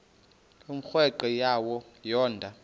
umrweqe wayo yoonda